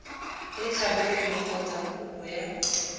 e tlhabolotsweng kgotsa kopo ya